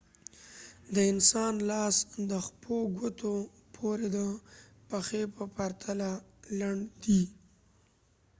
د انسان لاس د ښپو ګوتو پوري د پښې په پرتله لنډ دی